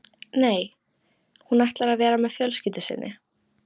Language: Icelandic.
Nei, hún ætlar að vera með fjölskyldu sinni.